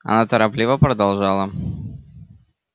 она торопливо продолжала